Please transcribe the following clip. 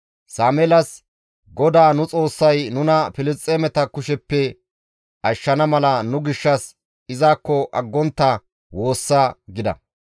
Sameelas, «GODAA nu Xoossay nuna Filisxeemeta kusheppe ashshana mala nu gishshas izakko aggontta woossa» gida.